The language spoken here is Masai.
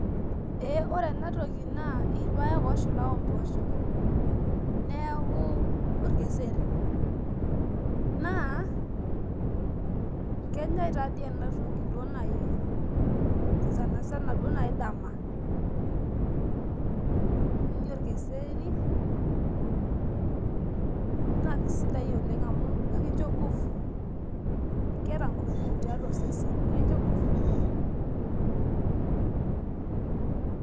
ore enatoki naa ilpayek oshula ombosho neeku olkeseri naa kenya taa dii enatoki sani sana duo naaji dama naa kisidai oleng amu ekicho inkufu,.